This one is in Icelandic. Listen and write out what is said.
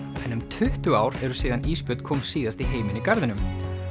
en um tuttugu ár eru síðan ísbjörn kom síðast í heiminn í garðinum